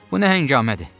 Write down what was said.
Bu nə həkəngamədir?